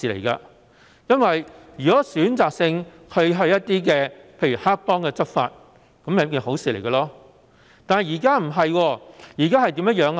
如果警方選擇性向例如黑幫執法便會是好事，但現時卻不是這樣。